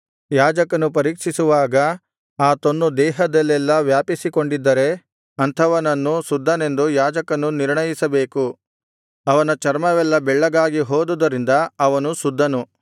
ಯಾಜಕನು ಪರೀಕ್ಷಿಸುವಾಗ ಆ ತೊನ್ನು ದೇಹದಲ್ಲೆಲ್ಲಾ ವ್ಯಾಪಿಸಿಕೊಂಡಿದ್ದರೆ ಅಂಥವನನ್ನು ಶುದ್ಧನೆಂದು ಯಾಜಕನು ನಿರ್ಣಯಿಸಬೇಕು ಅವನ ಚರ್ಮವೆಲ್ಲಾ ಬೆಳ್ಳಗಾಗಿ ಹೋದುದರಿಂದ ಅವನು ಶುದ್ಧನು